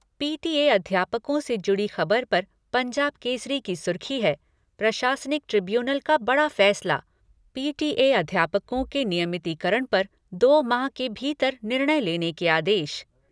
PTA अध्यापकों से जुड़ी खबर पर पंजाब केसरी की सुर्खी है, प्रशासनिक ट्रिब्यूनल का बड़ा फैसला पीटीए अध्यापकों के नियमितीकरण पर दो माह के भीतर निर्णय लेने के आदेश।